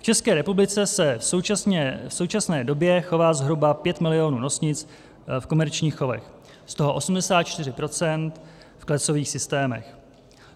V České republice se v současné době chová zhruba 5 milionů nosnic v komerčních chovech, z toho 84 % v klecových systémech.